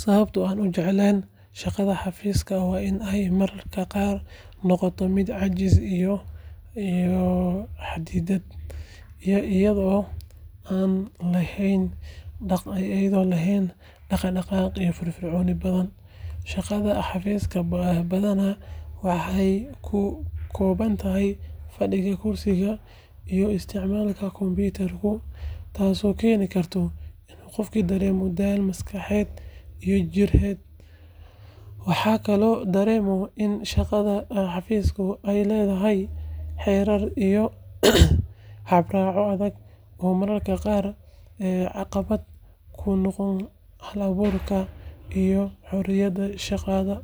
Sababta an ujeclen shaqada xafiska waa inay mararka qar ay noqoto mid cajis iyoh xadidad iyadho lehen daqdaqaq iyo firfirconi badhan , shaqadha xafiska bahi badhaana kukobantahay fadiga korsiga iyoh istacmalku compitarku tasi okeni karto qofki daremo daal maxkaxed iyo jired waxa kale oo daren mudhan ini shaqadha xafiska ay ledahahy xerar iyoh arbaco adhag oo mararka qar ay caqibad kunoqoni, karta hal aburka iyoh xoriyada shaqala